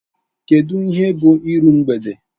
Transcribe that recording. Kedu ihe bụ iru mgbede?